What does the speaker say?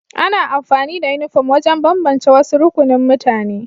Ana amfani da Uniform wajen bambance wasu rukunin mutane